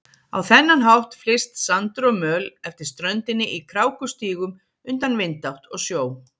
Á þennan hátt flyst sandur og möl eftir ströndinni í krákustígum undan vindátt og sjó.